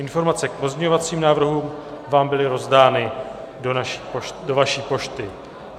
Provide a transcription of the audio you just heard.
Informace k pozměňovacím návrhům vám byly rozdány do vaší pošty.